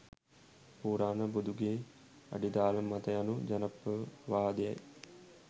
පුරාණ බුදුගෙයි අඩිතාලම මත යනු ජනප්‍රවාදයයි